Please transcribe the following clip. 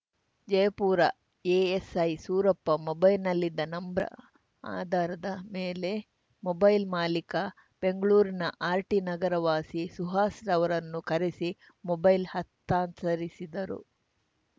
Jayapura ASI Surappa ಮೊಬೈಲ್‌ನಲ್ಲಿದ್ದ ನಂಬ್ರನ ಆಧಾರದ ಮೇಲೆ ಮೊಬೈಲ್‌ ಮಾಲಿಕ ಬೆಂಗ್ಳೂರಿನ ಆರ್‌ಟಿ ನಗರ ವಾಸಿ ಸುಹಾಸ್‌ರವರನ್ನು ಕರೆಸಿ ಮೊಬೈಲ್‌ ಹಸ್ತಾಂತರಿಸಿದರು